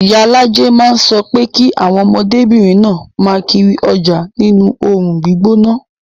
Iyalaje máa ń sọ pé kí àwọn ọmọdébìnrin náà máa kiri ọjà nínú oòrùn gbígbóná